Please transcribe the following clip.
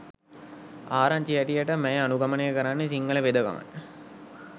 ආරංචි හැටියට මැය අනුගමනය කරන්නේ සිංහල වෙදකමයි.